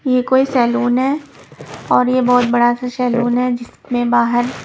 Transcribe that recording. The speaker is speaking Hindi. ये कोई सैलून है और ये बहुत बड़ा सा सैलून है जिसमें बाहर --